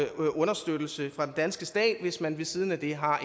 understøttelse fra den danske stat hvis man ved siden af det har